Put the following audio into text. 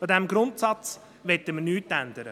An diesem Grundsatz möchten wir nichts ändern.